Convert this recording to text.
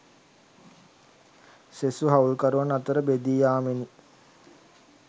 සෙසු හවුල්කරුවන් අතර බෙදී යාමෙනි.